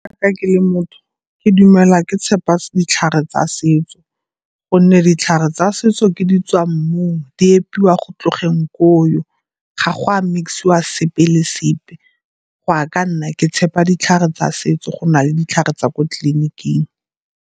Ka ke le motho ke dumela ke tshepa ditlhare tsa setso gonne ditlhare tsa setso ke di tswa mmung, di epiwa go tlogeng koo. Ga go a mix-iwa sepe le sepe, go a ka nna ke tshepa ditlhare tsa setso go na le ditlhare tsa ko tleliniking.